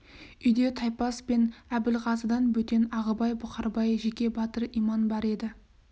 үйде таймас пен әбілғазыдан бөтен ағыбай бұқарбай жеке батыр иман бар еді